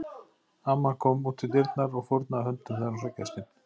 Amman kom út í dyrnar og fórnaði höndum þegar hún sá gestinn.